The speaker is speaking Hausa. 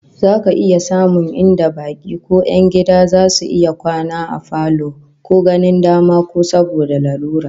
Za ka iya samun inda baki ko 'yan gida zasu iya kwana a falo ko ganin dama ko saboda lalura